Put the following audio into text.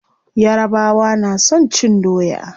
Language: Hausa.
Yarabawa na son cin doya.